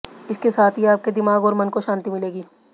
इसके साथ ही आपके दिमाग और मन को शांति मिलेगी